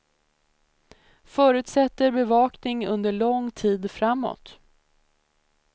Förutsätter bevakning under lång tid framåt.